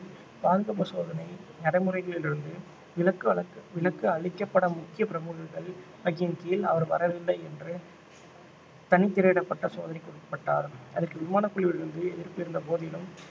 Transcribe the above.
பாதுகாப்பு சோதனை நடைமுறைகளில் இருந்து விலக்கு வல~ விலக்கு அளிக்கப்பட முக்கிய பிரமுகர்கள் வகையின் கீழ் அவர் வரவில்லை என்று தனித் திரையிடப்பட்ட சோதனைக்கு உட்பட்டார் அதற்கு விமானக் குழுவிலிருந்து எதிர்ப்பு இருந்த போதிலும்